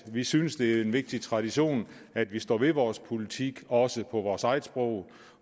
vi synes det er en vigtig tradition at vi står ved vores politik også på vores eget sprog